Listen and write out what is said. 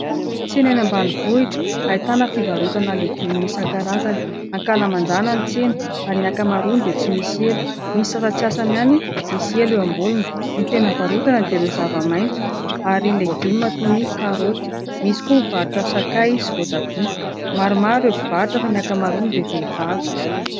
Tsena eny ambanivohitra ahitana fivarotana legioma isan-karazany. Ankalamanjana ny tsena ary ny ankamaroany dia tsy misy elo, misy sasatsasany ihany misy elo eo amboniny. Ny tena varotana dia ireo zava-maitso ary legioma toy ny karôty, misy koa mivarotra sakay sy voatabia. Maromaro ireo mpivarotra fa ny ankamaroany dia vehivavy.